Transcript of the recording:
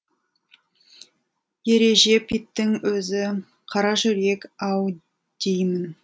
ережеп иттің өзі қаражүрек ау деймін